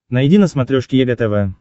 найди на смотрешке егэ тв